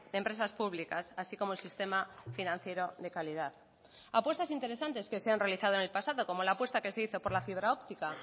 empresas públicas así como el sistema financiero de calidad apuestas interesantes que se han realizado en el pasado como la apuesta que se hizo por la fibra óptica